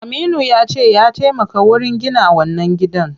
Aminu yace ya taimaka wurin gina wannan gidan.